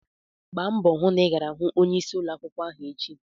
Gbaa mbọ hụ na ị gara hụ onyeisi ụlọ akwụkwọ echi!